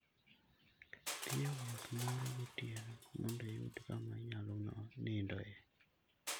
Dhi e wuoth moro gotieno mondo iyud kama inyalo nindoe.